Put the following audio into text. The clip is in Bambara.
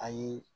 Ayi